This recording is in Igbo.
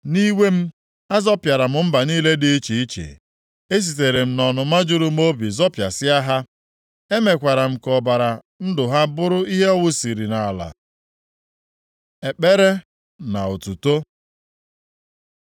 Nʼiwe m, azọpịara mba niile dị iche iche; esitere m nʼọnụma juru m obi zọpịasịa ha. Emekwara ka ọbara ndụ ha bụrụ ihe a wụsiri nʼala.” Ekpere na otuto